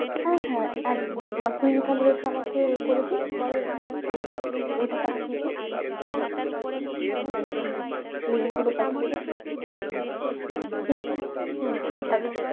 হ্যাঁ হ্যাঁ একদম একদম আর তুই তাহলে হচ্ছে আমাকে এ করেদে এটা পাঠিয়েদে link গুলো পাঠিয়েদে ঠিক আছে হম চল টাটা।